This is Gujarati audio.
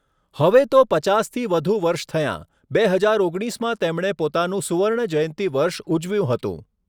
હવે તો પચાસથી વધુ વર્ષ થયાં. બે હજાર ઓગણીસમાં તેમણે પોતાનું સુવર્ણ જયંતી વર્ષ ઉજવ્યું હતું.